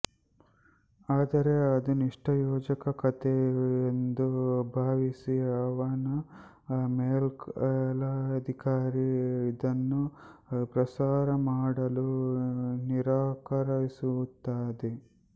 ಆದರೆ ಅದು ನಿಷ್ಪ್ರಯೋಜಕ ಕಥೆ ಎಂದು ಭಾವಿಸಿ ಅವನ ಮೇಲಧಿಕಾರಿ ಅದನ್ನು ಪ್ರಸಾರ ಮಾಡಲು ನಿರಾಕರಿಸುತ್ತಾನೆ